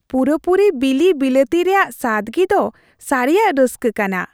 ᱯᱩᱨᱟᱹᱯᱩᱨᱤ ᱵᱤᱞᱤ ᱵᱤᱞᱟᱹᱛᱤ ᱨᱮᱭᱟᱜ ᱥᱟᱫᱜᱤ ᱫᱚ ᱥᱟᱹᱨᱤᱭᱟᱜ ᱨᱟᱹᱥᱠᱟᱹ ᱠᱟᱱᱟ ᱾